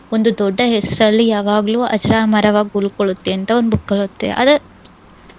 ಒಂದು ದೊಡ್ಡ ಹೆಸ್ರಲ್ಲಿ ಯಾವಗ್ಲೂ ಅಜರಾಮರವಾಗ್ ಉಳ್ಕೊಳ್ಳತ್ತೆಂತ ಒಂದ್ book ಅಲ್ ಓದ್ದೆ ಅದೆ